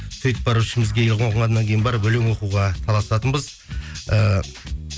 сөйтіп барып ішімізге барып өлең оқуға таласатынбыз ііі